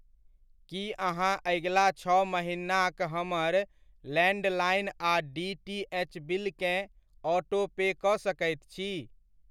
की अहाँ अगिला छओ महिनाक हमर लैण्डलाइन आ डी टी एच बिलकेँ ऑटोपे कऽ सकैत छी??